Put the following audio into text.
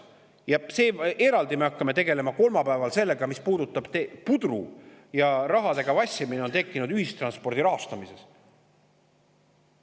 Ja eraldi me hakkame kolmapäeval tegelema sellega, mis puudutab seda pudru, rahaga vassimist, mis on tekkinud ühistranspordi rahastamises.